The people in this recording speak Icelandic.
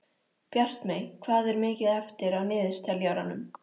Bjartmey, hvað er mikið eftir af niðurteljaranum?